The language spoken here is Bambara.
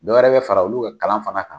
Dɔ wɛrɛ bɛ fara olu ka kalan fana kan.